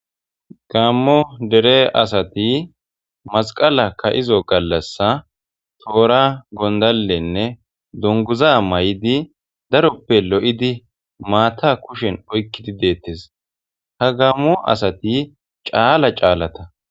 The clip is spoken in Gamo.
Gaammo asati masqala kaa7io gallassan toora gondallenne dunguza mayidi daroppe lo7idi deettees hagaammo asati caala caalata.